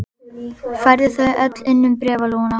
Færðu þau öll inn um bréfalúguna?